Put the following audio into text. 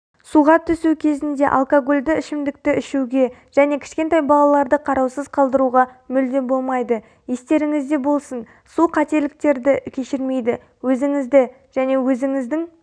суға түсу кезінде алкогольді ішімдікті ішуге және кішкентай балаларды қараусыз қалдыруға мүлде болмайды естеріңізде болсын су қателіктерді кешірмейді өзіңізді және өзіңіздің